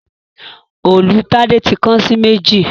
Òòlù Tade tí kán sí méjì